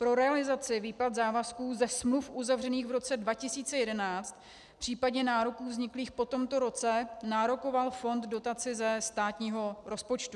Pro realizaci výplat závazků ze smluv uzavřených v roce 2011, případně nároků vzniklých po tomto roce, nárokoval fond dotaci ze státního rozpočtu.